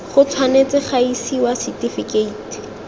go tshwanetse ga isiwa setifikeiti